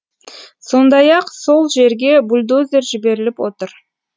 сондай ақ сол жерге бульдозер жіберіліп отыр